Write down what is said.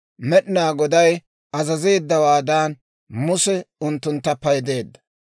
Med'inaa Goday azazeeddawaadan, Muse unttuntta paydeedda.